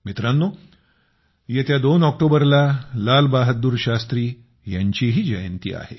मित्रांनो येत्या दोन ऑक्टोबरला लाल बहादूर शास्त्री यांचीही जयंती आहे